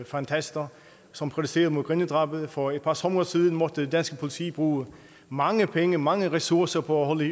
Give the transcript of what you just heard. fantaster som protesterede mod grindedrabet og for et par somre siden måtte det danske politi bruge mange penge mange ressourcer på at holde